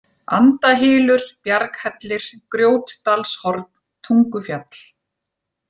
Andahylur, Bjarghellir, Grjótdalshorn, Tungufjall